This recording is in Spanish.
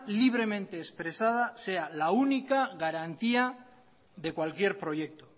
libremente expresada sea la única garantía de cualquier proyecto